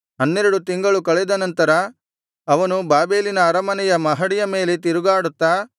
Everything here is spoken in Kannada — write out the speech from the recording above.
ಹನ್ನೆರಡು ತಿಂಗಳು ಕಳೆದನಂತರ ಅವನು ಬಾಬೆಲಿನ ಅರಮನೆಯ ಮಹಡಿಯ ಮೇಲೆ ತಿರುಗಾಡುತ್ತಾ